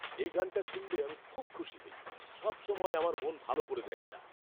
এই গানটা শুনলে আমি খুব খুশি হই। সবসময় আমার মন ভালো করে দেয় এটা।